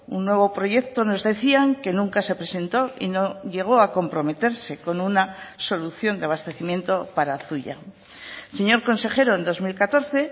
un nuevo proyecto nos decían que nunca se presentó y no llegó a comprometerse con una solución de abastecimiento para zuia señor consejero en dos mil catorce